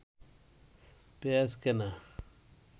পেঁয়াজ কেনা